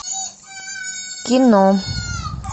кино